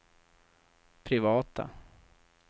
privata